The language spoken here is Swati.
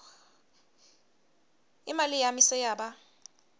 imali yami seyaba